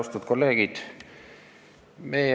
Austatud kolleegid!